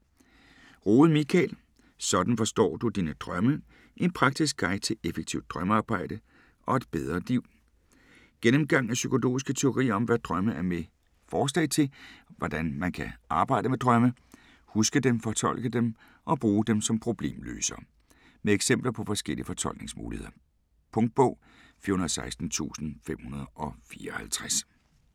Rohde, Michael: Sådan forstår du dine drømme: en praktisk guide til effektivt drømmearbejde - og et bedre liv Gennemgang af psykologiske teorier om, hvad drømme er med forslag til, hvordan man kan arbejde med drømme: Huske dem, fortolke dem og bruge dem som problemløsere. Med eksempler på forskellige fortolkningsmuligheder. Punktbog 416554 2017. 7 bind.